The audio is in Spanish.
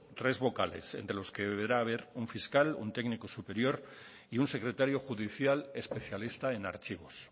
tres vocales entre los que deberá haber un fiscal un técnico superior y un secretario judicial especialista en archivos